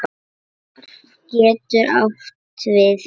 Hvarf getur átt við